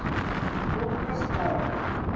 Rómverskt dagatal.